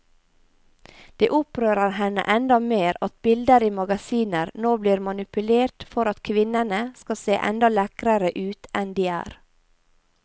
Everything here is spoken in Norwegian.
Det opprører henne enda mer at bilder i magasiner nå blir manipulert for at kvinnene skal se enda lekrere ut enn de er.